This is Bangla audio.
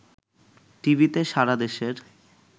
টিভিতে সারাদেশের